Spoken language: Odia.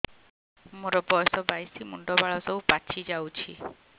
ମୋର ବୟସ ବାଇଶି ମୁଣ୍ଡ ବାଳ ସବୁ ପାଛି ଯାଉଛି